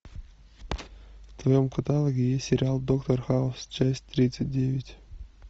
в твоем каталоге есть сериал доктор хаус часть тридцать девять